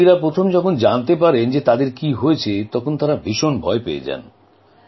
কারণ রোগীরা যখন প্রথম জানতে পারেন তাঁদের কী হয়েছে তখন তাঁরা ভীষণ ভয় পেয়ে যান